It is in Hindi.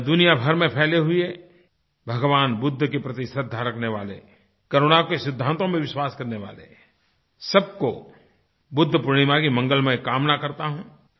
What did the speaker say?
मैं दुनिया भर में फैले हुए भगवान बुद्ध के प्रति श्रद्धा रखने वाले करुणा के सिद्धांतों में विश्वास करने वाले सबको बुद्ध पूर्णिमा की मंगलमयी कामना करता हूँ